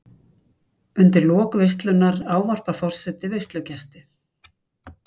Undir lok veislunnar ávarpar forseti veislugesti.